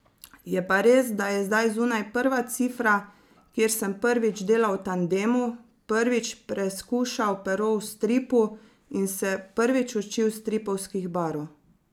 Je pa res, da je zdaj zunaj prva cifra, kjer sem prvič delal v tandemu, prvič preskušal pero v stripu in se prvič učil stripovskih barv.